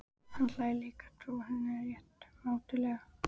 Hann hlær líka, trúir henni rétt mátulega.